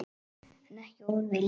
En ekki orð við Lenu.